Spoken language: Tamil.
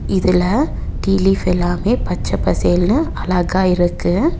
இதுல டீ லீஃப் எல்லாமே பச்ச பசேல்னு அழகா இருக்கு.